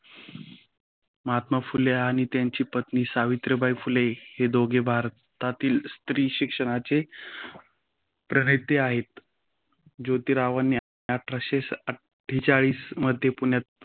महात्मा फुले आणि त्यांच्या पत्नी सावित्रीबाई फुले हे दोघे भारतातील स्त्री शिक्षणाचे प्रणेते आहेत. जोतिरावांनी आठरसे अठेचाळीस मध्ये पुण्यात